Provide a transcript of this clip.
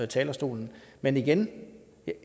talerstolen men igen